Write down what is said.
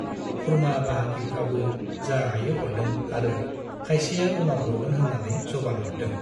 खुरमा-बाहागिफ्राबो जा हायो हरदों आरो खायसेया उनाव हरगोन होन्नानै जबान हरदों।